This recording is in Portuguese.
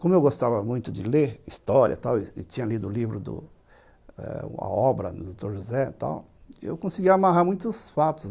Como eu gostava muito de ler história e tinha lido o livro, a obra do Dr. José, eu conseguia amarrar muitos fatos.